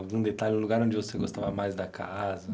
Algum detalhe, um lugar onde você gostava mais da casa?